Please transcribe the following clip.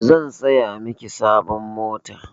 Zan saya miki sabon mota.